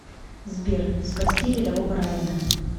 сбер спасти рядового райана